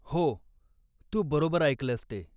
हो, तू बरोबर ऐकलंयस ते.